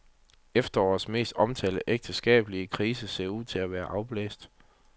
Efterårets mest omtalte ægteskabelige krise ser ud til at være afblæst.